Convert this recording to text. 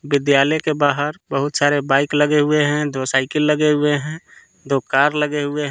विद्यालय के बाहर बहुत सारे बाइक लगे हुए हैं दो साइकिल लगे हुए है दो कार लगे हुए हैं।